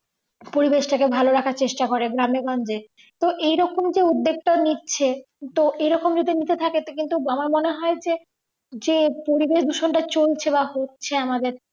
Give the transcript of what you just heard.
পরিবেশটাকে ভালো রাখার চেষ্টা করে গ্রামে গঞ্জে তো এইরকম যে উদ্যোগটা নিচ্ছে তো এইরকম যদি নিতে থাকে তো কিন্তু আমার মনে হয় যে যে পরিবেশ দূষণটা যে চলছে বা হচ্ছে আমাদের